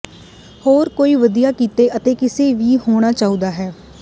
ਹਰ ਕੋਈ ਵਧੀਆ ਕਿਤੇ ਅਤੇ ਕਿਸੇ ਵੀ ਹੋਣਾ ਚਾਹੁੰਦਾ ਹੈ